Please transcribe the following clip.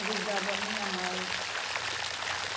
Ajudava a minha mãe.